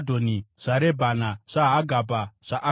zvaRebhana, zvaHagabha, zvaAkubhi,